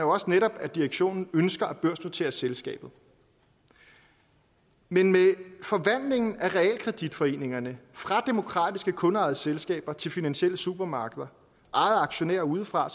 også netop at direktionen ønsker at børsnotere selskabet men med forvandlingen af realkreditforeningerne fra demokratiske kundeejede selskaber til finansielle supermarkeder ejet af aktionærer udefra er